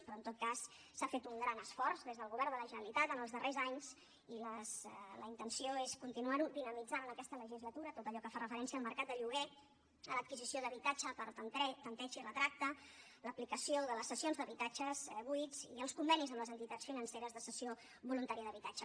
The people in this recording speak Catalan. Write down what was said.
però en tot cas s’ha fet un gran esforç des del govern de la generalitat en els darrers anys i la intenció és continuar dinamitzant en aquesta legislatura tot allò que fa referència al mercat de lloguer a l’adquisició d’habitatge per tanteig i retracte l’aplicació de les cessions d’habitatges buits i els convenis amb les entitats financeres de cessió voluntària d’habitatge